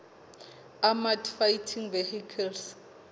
armoured fighting vehicles